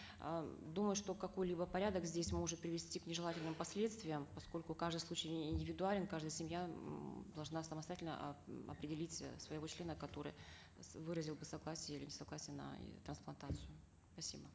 э думаю что какой либо порядок здесь может привести к нежелательным последствиям поскольку каждый случай индивидуален каждая семья м должна самостоятельно э определить э своего члена который выразил бы согласие или несогласие на трансплантацию спасибо